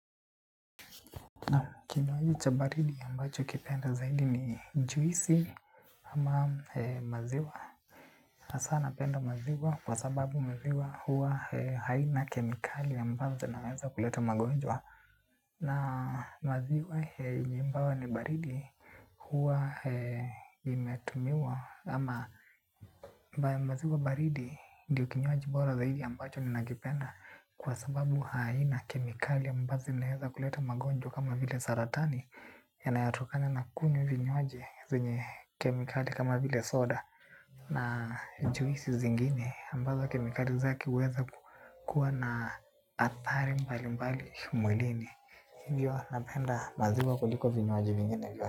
Kinywaji cha baridi ambacho nakipenda zaidi ni juisi ama maziwa, hasa napenda maziwa kwa sababu maziwa huwa haina kemikali ambazo zinaweza kuleta magonjwa na maziwa yenye ni baridi. Huwa imetumiwa ama mbaya maziwa baridi ndio kinywaji bora zaidi ambacho nikapenda kwa sababu haina kemikali ambazo ninaweza kuleta magonjwa kama vile saratani. Yanayatokana na kunywa vinywaji zenye kemikali kama vile soda. Na juisi zingine ambazo kemikali zake huweza kuwa na athari mbali mbali mwilini. Hivyo napenda maziwa kuliko vinywaji vingine vyote.